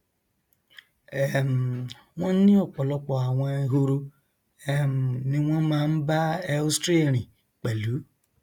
um wọn ní ọpọlọpọ àwọn ehoro um ní wọn máa ń bá ēostre rìn pẹlú